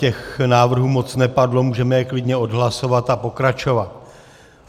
Těch návrhů moc nepadlo, můžeme je klidně odhlasovat a pokračovat.